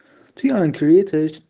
ты англии